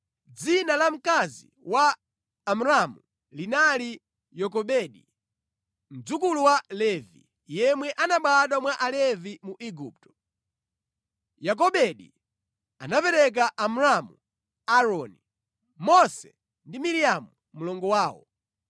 Dzina la mkazi wa Amramu linali Yokobedi, mdzukulu wa Levi, yemwe anabadwa mwa Alevi mu Igupto. Yokobedi anaberekera Amramu Aaroni, Mose ndi Miriamu mlongo wawo.